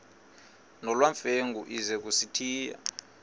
nolwamamfengu ize kusitiya